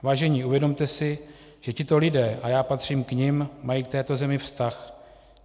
Vážení, uvědomte si, že tito lidé, a já patřím k nim, mají k této zemi vztah.